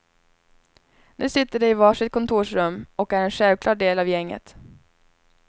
Nu sitter de i var sitt kontorsrum och är en självklar del av gänget.